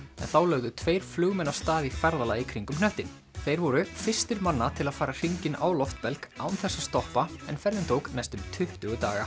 en þá lögðu tveir flugmenn af stað í ferðalag í kringum hnöttinn þeir voru fyrstir manna til að fara hringinn á loftbelg án þess að stoppa en ferðin tók næstum tuttugu daga